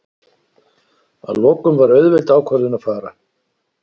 Að lokum var auðveld ákvörðun að fara.